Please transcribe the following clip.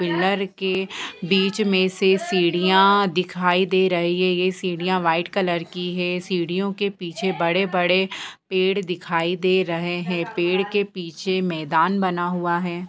Pillar के बीच मे से सिडियाँ दिखाई दे रही है। ये साड़ियां वाइट कलर की है सीढिया के पीछे बड़े बड़े पेड़ दिखाई दे रहे हैं | पेड़ के पीछे मैदान बना हुआ है।